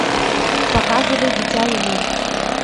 показывай дитя луны